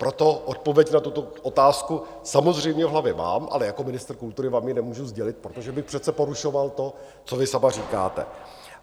Proto odpověď na tuto otázku samozřejmě v hlavě mám, ale jako ministr kultury vám ji nemůžu sdělit, protože bych přece porušoval to, co vy sama říkáte.